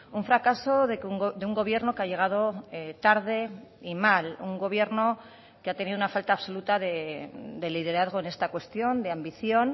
un fracaso de un gobierno que ha llegado tarde y mal un gobierno que ha tenido una falta absoluta de liderazgo en esta cuestión de ambición